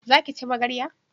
Za ki ci magarya?